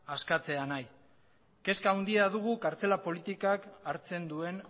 askatzea nahi kezka handia dugu kartzela politikak hartzen duen